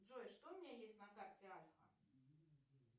джой что у меня есть на карте альфа